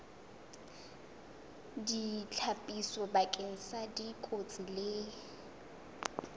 ditlhapiso bakeng sa dikotsi le